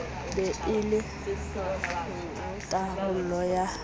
be e le tharollo ya